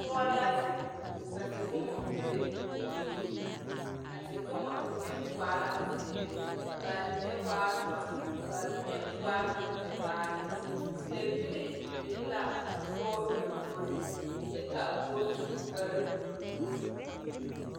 Doɔ la zeng ka tewoma be ɔ poɔring a tewoma mene waa laa ziiri ka mene waa duro ka mene waa nga tevaare pebilii bing la a poɔ lɔmboring kye ka a poɔ su kpare blue.